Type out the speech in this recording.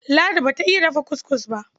Ladi ba ta iy dafa kuskus ba.